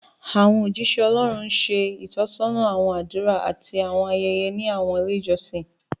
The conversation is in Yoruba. Àwọn ójíṣẹ́ Ọlọ́run ń ṣe ìtọ́sọ́nà àwọn àdúrà àti àwọn ayẹyẹ ní àwọn ilé ìjọsìn